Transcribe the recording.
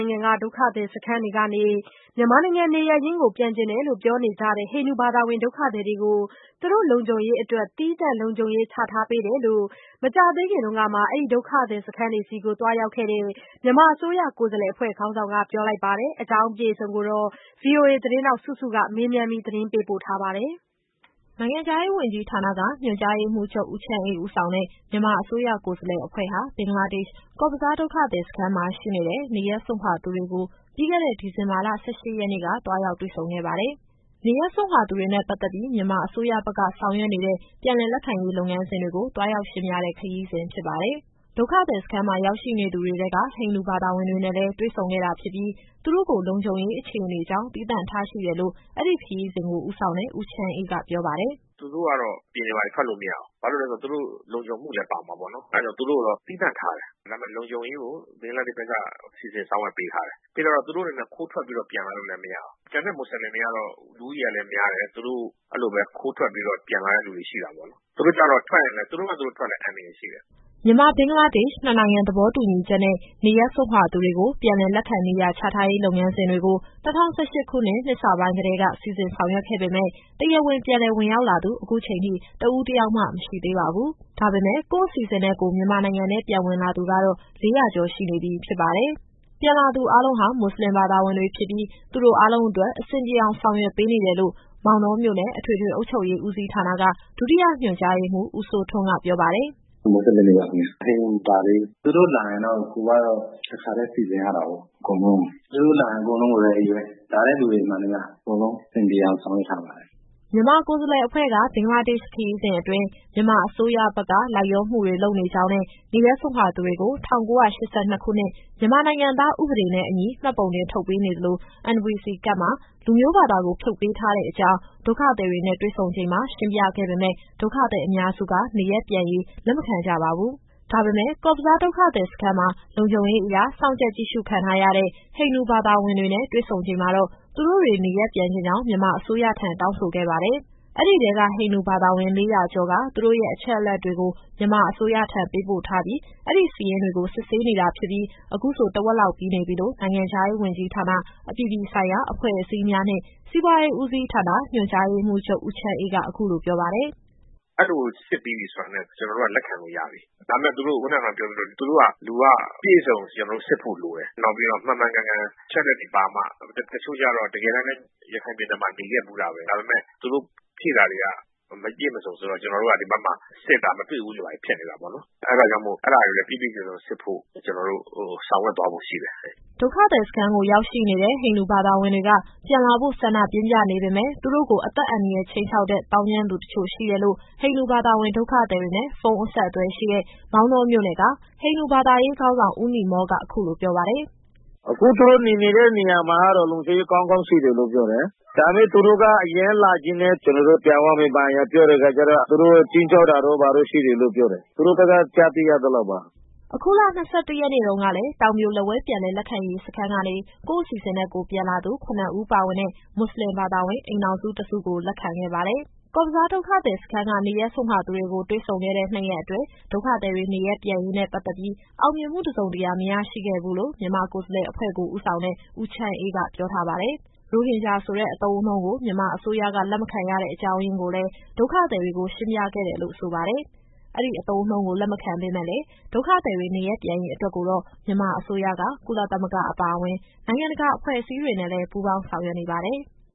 ုင်ငံက ဒုက္ခသည် စခန်းတွေကနေ နေရပ်ရင်း ပြန်ချင်ကြောင်း ပြောနေကြတဲ့ ဟိန္ဒူဘာသာဝင် ဒုက္ခသည်တွေကို သူတို့ရဲ့ လုံခြုံရေး အတွက် သီးသန့်လုံခြုံရေးချထားတယ်လို့ မကြာသေးခင်ကမှ အဲဒီဒုက္ခသည်စခန်း တွေကို သွားရောက်ခဲ့တဲ့ မြန်မာကိုယ်စားလှယ်အဖွဲ့ ခေါင်းဆောင်က ပြောပါတယ်။ ဒီအကြောင်းအပြည့်အစုံကို ဗွီအိုအေသတင်းထောက် စုစုက မေးမြန်း ပေးပို့ထားပါတယ်။ နိုင်ငံခြားရေးဝန်ကြီးဌာနက ညွှန်ကြားရေးမှူးချုပ် ဦးချမ်းအေးဦးဆောင်တဲ့ မြန်မာအစိုးရ ကိုယ်စားလှယ် အဖွဲ့ဟာ ဘင်္ဂလားဒေ့ရှ်၊ ကော့ဘဇားဒုက္ခသည်စခန်းမှာ ရှိနေတဲ့ နေရပ်စွန့်ခွာသူတွေကို ပြီးခဲ့တဲ့ ဒီဇင်ဘာလ ၁၈ရက်နေ့က သွားရောက်တွေ့ဆုံခဲ့ပါတယ်။နေရပ်စွန့်ခွာသူတွေနဲ့ ပတ်သက်ပြီး မြန်မာအစိုးရဘက်က ဆောင်ရွက်နေတဲ့ ပြန်လည်လက်ခံရေးလုပ်ငန်းစဉ်တွေကို သွားရောက်ရှင်းပြတဲ့ ခရီးစဉ်ဖြစ်ပါတယ်။ ဒုက္ခသည်စခန်းမှာ ရောက်ရှိနေသူတွေထဲက ဟိန္ဒူဘာသာဝင်တွေနဲ့လည်း တွေ့ဆုံခဲ့တာ ဖြစ်ပြီး သူတို့ကို လုံခြုံရေး အခြေအနေကြောင့် သီးသန့်ထားရှိတယ်လို့ အဲဒီခရီးစဉ်ကို ဦးဆောင်တဲ့ ဦးချမ်းအေးက ပြောပါတယ်။ “သူတို့ (ဟိန္ဒူ)ကတော့ အပြင်တွေဘာတွေ ထွက်လို့မရဘူး။ ဘာလို့လည်းဆိုတော့ သူတို့လုံခြုံမှုလည်း ပါမှာပေါ့နော်။ အဲဒါကြောင့် သူတို့ကိုတော့ သီးသန့်ထားတယ်။ ဒါပေမယ့် လုံခြုံရေးကို ဘင်္ဂလားဒေ့ရှ်ဘက်က စီစဉ်ဆောက်ရွက်ပေးထားတယ်။ ပေးထားတော့ သူတို့အနေနဲ့ ခိုးထွက်ပြီးတော့ ပြန်လာလို့လည်းမရဘူး။ ကျန်တဲ့မွတ်ဆလင်တွေကတော့ လူဦးရေလည်းများတယ်။ သူတို့ အဲလိုပဲခိုးထွက်ပြီးတော့ ပြန်လာတဲ့သူတွေရှိတာပေါ့လေ။ သူတို့ (ဟိန္ဒူ)ကျတော့ ထွက်ရင်လည်း သူတို့ဘာသူတို့ထွက်ရင်လည်း အန္တရာယ်ရှိတယ်။” မြန်မာ-ဘင်္ဂလားဒေ့ရှ် နှစ်နိုင်ငံသဘောတူညီချက်နဲ့ နေရပ်စွန့်ခွာသူတွေကို ပြန်လည်လက်ခံ နေရာချထားရေးလုပ်ငန်းစဉ်တွေကို ၂၀၁၈ခုနှစ် နှစ်စပိုင်းကတည်းက စီစဉ်ဆောင်ရွက်ခဲ့ပေမယ့် တရားဝင်ပြန်လည်ဝင်ရောက်လာသူ အခုချိန်ထိ တဦးတယောက်မှ မရှိသေးပါဘူး။ ဒါပေမယ့် ကိုယ့်အစီအစဉ်နဲ့ကိုယ် မြန်မာနိုင်ငံထဲပြန်ဝင်လာသူကတော့ ၄၀၀ကျော်ရှိနေပြီ ဖြစ်ပါတယ်။ ပြန်လာသူ အားလုံးဟာ မွတ်ဆလင်ဘာသာဝင်တွေ ဖြစ်ပြီး သူတို့ အားလုံး အတွက် အဆင်ပြေအောင် ဆောင်ရွက်ပေးနေတယ်လို့ မောင်တောမြို့နယ်၊ အထွေထွေအုပ်ချုပ်ရေး ဦးစီးဌာနက ဒုတိယညွှန်ကြားရေးမှူး ဦးစိုးထွန်းက ပြောပါတယ်။ “(အခုပြန်ရောက်နေတဲ့ ၄၀၀ကျော်က) မွတ်ဆလင်တွေပါခင်ဗျ။ ဟိန္ဒူမပါသေးဘူး။ (နေရပ်စွန့်ခွာသူတွေ) သူတို့လာရင်တော့ ကိုယ်ကတော့ တခါတည်းစီစဉ်ရတာကို အကုန်လုံးကို။ သူတို့လာရင် အကုန်လုံး Ready ပဲ။ လာတဲ့သူတွေမှန်သမျှ အကုန်လုံးအဆင်ပြေအောင် ဆောင်ရွက်ထားပါတယ်။” မြန်မာကိုယ်စားလှယ် အဖွဲ့က ဘင်္ဂလားဒေ့ရှ် ခရီးစဉ်အတွင်း မြန်မာအစိုးရဘက်က လိုက်လျောမှုတွေ လုပ်နေကြောင်းနဲ့ နေရပ်စွန့်ခွာသူတွေကို ၁၉၈၂ခုနှစ် မြန်မာနိုင်ငံသားဥပဒေနဲ့အညီ မှတ်ပုံတင်ထုတ်ပေးနေ သလို၊ NVC ကဒ်မှာ လူမျိုးဘာသာကို ဖြုတ်ပေးထားတဲ့ အကြောင်း ဒုက္ခသည်တွေနဲ့ တွေ့ဆုံချိန်မှာ ရှင်းပြခဲ့ပေမယ့် ဒုက္ခသည်အများစုက နေရပ်ပြန်ရေး လက်မခံ ကြပါဘူး။ ဒါပေမယ့် ကော့ဘဇားဒုက္ခသည်စခန်းမှာ လုံခြုံရေးအရ စောင့်ကြပ်ကြည့်ရှုခံထားရတဲ့ ဟိန္ဒူဘာသာဝင်တွေနဲ့ တွေ့ဆုံချိန်မှာတော့ သူတို့တွေ နေရပ်ပြန်ချင်ကြောင်း မြန်မာအစိုးရထံ တောင်းဆိုခဲ့ပါတယ်။ အဲဒီထဲက ဟိန္ဒူဘာသာဝင် ၄၀၀ကျော်က သူတို့ရဲ့အချက်အလက်တွေကို မြန်မာအစိုးရထံ ပေးပို့ထားပြီး အဲဒီစာရင်းတွေကို စစ်ဆေးနေတာ ဖြစ်ပြီး အခုဆို တဝက်လောက်ပြီးနေပြီလို့ နိုင်ငံခြားရေးဝန်ကြီးဌာန၊ အပြည်ပြည်ဆိုင်ရာ အဖွဲ့အစည်းများနှင့် စီးပွားရေးဦးစီးဌာန ညွှန်ကြားရေးမှူးချုပ် ဦးချမ်းအေးက အခုလိုပြောပါတယ်။ “အဲလိုစစ်ပြီးပြီဆိုတာနဲ့ ကျနော်တို့က လက်ခံလို့ရပြီ။ ဒါပေမယ့် လူကအပြည့်အစုံ ကျနော်တို့စစ်ဖို့ လိုတယ်။ နောက်ပြီးတော့ မှန်မှန်ကန်ကန် အချက်အလက်တွေပါမှ။ တချို့ကျတော့ တကယ်တမ်းလည်း ရခိုင်ပြည်နယ်မှာ နေခဲ့ဖူးတာပဲ။ ဒါပေမယ့် သူတို့ဖြည့်တာတွေက မပြည့်မစုံဆိုတော့ ကျနော်တို့က ဒီဘက်မှာစစ်တာ မတွေ့ဘူးတွေ ဘာတွေဖြစ်နေတာပေါ့နော်။ အဲဒါကြောင့်မို့ အဲဒါတွေကိုလည်း ပြည့်ပြည့်စုံစုံစစ်ဖို့ ကျနော်တို့ဆောင်ရွက်သွားဖို့ ရှိတယ်။” ဒုက္ခသည်စခန်းကို ရောက်ရှိနေတဲ့ ဟိန္ဒူဘာသာဝင်တွေက ပြန်လာဖို့ဆန္ဒပြင်းပြနေပေမယ့် သူတို့ကိုအသက်အန္တရာယ် ခြိမ်းခြောက်တဲ့ သောင်းကျန်းသူ တချို့ရှိတယ်လို့ ဟိန္ဒူဘာသာဝင် ဒုက္ခသည်တွေနဲ့ ဖုန်းအဆက်အသွယ်ရှိတဲ့ မောင်တောမြို့နယ်က ဟိန္ဒူဘာသာရေးခေါင်းဆောင် ဦးနိမောလ်က အခုလိုပြောပါတယ်။ “အခု သူတို့နေနေတဲ့နေရာမှာတော့ လုံခြုံရေးကောင်းကောင်းရှိတယ်လို့ ပြောတယ်။ ဒါပေမယ့် သူတို့ကအရမ်းလာချင်တယ်။ ကျနော်တို့ ပြန်သွားမယ် ဘာညာပြောတဲ့အခါကျတော့ သူတို့(သောင်းကျန်းသူတွေ) ခြိမ်းခြောက်တာတို့ ဘာတို့ရှိတယ်လို့ ပြောတယ်။ သူတို့ဘက်က ကြားသိရသလောက်ပါ။” အခုလ ၂၁ရက်နေ့တုန်းကလည်း တောင်ပြိုလက်ဝဲ ပြန်လည်လက်ခံရေးစခန်းကနေ ကိုယ့်အစီအစဉ်နဲ့ကိုယ်ပြန်လာသူ ၇ဦးပါဝင်တဲ့ မွတ်ဆလင်ဘာသာဝင် အိမ်ထောင်စုတစုကို လက်ခံခဲ့ပါတယ်။ ကော့ဘဇားဒုက္ခသည်စခန်းက နေရပ်စွန့်ခွာသူတွေကို တွေ့ဆုံခဲ့တဲ့ နှစ်ရက်အတွင်း ဒုက္ခသည်တွေနေရပ်ပြန်ရေးနဲ့ ပတ်သက်ပြီး အောင်မြင်မှုတစုံတရာ မရရှိခဲ့ဘူးလို့ မြန်မာကိုယ်စားလှယ်အဖွဲ့ ကိုဦးဆောင်တဲ့ ဦးချမ်းအေးက ပြောထားပါတယ်။ ရိုဟင်ဂျာဆိုတဲ့ အသုံးအနှုန်းကို မြန်မာအစိုးရက လက်မခံရတဲ့အကြောင်းရင်းကိုလည်း ဒုက္ခသည်တွေကို ရှင်းပြခဲ့တယ်လို့ ဆိုပါတယ်။ အဲဒီအသုံးအနှုန်းကို လက်မခံပေမယ့်လည်း ဒုက္ခသည်တွေ နေရပ်ပြန်ရေးအတွက်ကိုတော့ မြန်မာအစိုးရက ကုလသမဂ္ဂအပါအဝင် နိုင်ငံတကာအဖွဲ့အစည်းတွေ နဲ့လည်း ပူးပေါင်းဆောင်ရွက်နေပါတယ်။